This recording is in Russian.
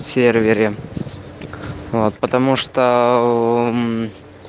сервере вот потому что